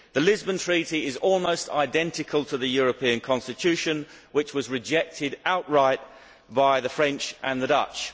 The Lisbon Treaty is almost identical to the European Constitution, which was rejected outright by the French and the Dutch.